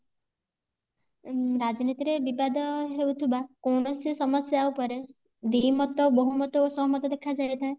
ଉଁ ରାଜନୀତି ରେ ବିବାଦ ହେଉଥିବା କୌଣସି ସମସ୍ୟା ଉପରେ ଦିମତ ବୋହୁମତ ଓ ସହମତ ଦେଖାଯାଇଥାଏ